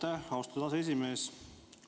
Aitäh, austatud aseesimees!